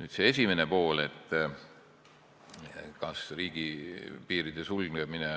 Nüüd küsimuse esimene pool: kas riigipiiride sulgemine